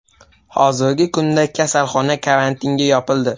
Hozirgi kunda kasalxona karantinga yopildi.